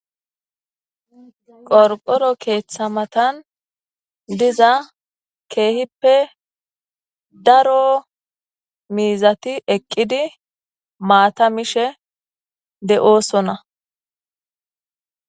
qorqoro keeththa matan diza keehippe daro miizati eqqidi maata mishe de7oosona.